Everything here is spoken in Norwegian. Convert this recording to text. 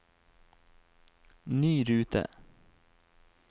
ny rute